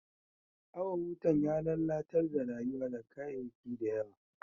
Awan wutan ya lallatar da rayuwa da kayaki da yawa.